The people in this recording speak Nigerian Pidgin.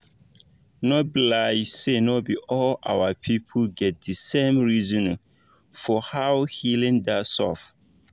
no be lie say no be all our pipu get the same reasonin for how healing da sub